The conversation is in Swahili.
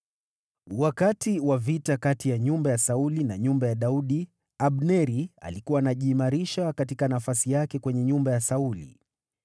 Wakati wa vita kati ya nyumba ya Sauli na nyumba ya Daudi, Abneri alikuwa anajiimarisha katika nafasi yake kwenye nyumba ya Sauli.